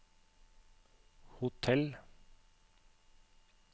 hotell